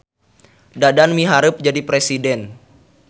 Dadan miharep jadi presiden